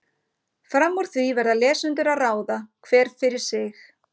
Fram úr því verða lesendur að ráða, hver fyrir sig.